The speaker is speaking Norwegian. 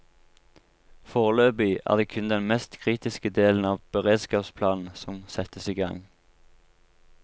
Foreløpig er det kun den mest kritiske delen av beredskapsplanen som settes i gang.